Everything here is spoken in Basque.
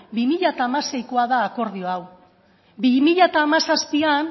bi mila hamaseikoa da akordio hau bi mila hamazazpian